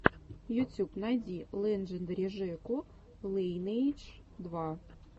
ютюб найди лэджендари жеку лайнэйдж два